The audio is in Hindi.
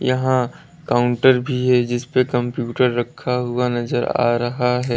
यहां काउंटर भी है जिस पर कंप्यूटर रखा हुआ नजर आ रहा है।